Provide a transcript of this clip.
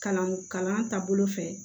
Kalan kalan taabolo fɛ